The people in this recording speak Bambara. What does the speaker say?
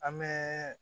An bɛ